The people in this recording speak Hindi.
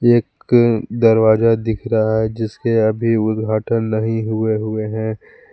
एक दरवाजा दिख रहा है जिसके अभी उद्घाटन नहीं हुए हुए हैं।